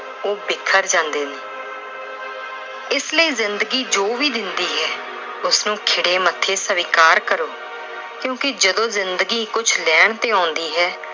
ਉਹ ਬਿਖਰ ਜਾਂਦੇ ਨੇ। ਇਸ ਲਈ ਜ਼ਿੰਦਗੀ ਜੋ ਵੀ ਦਿੰਦੀ ਏ, ਉਸਨੂੰ ਖਿੜੇ ਮੱਥੇ ਸਵਿਕਾਰ ਕਰੋ ਕਿਉਂਕਿ ਜਦੋਂ ਜ਼ਿੰਦਗੀ ਕੁਛ ਲੈਣ ਤੇ ਆਉਂਦੀ ਹੈ